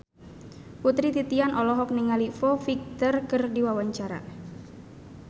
Putri Titian olohok ningali Foo Fighter keur diwawancara